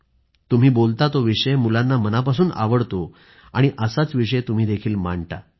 तुम्ही बोलता तो विषय मुलांना मनापासून आवडतो असाच विषय तुम्हीही मांडता